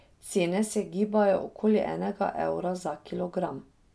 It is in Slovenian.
Cene se gibajo okoli enega evra za kilogram.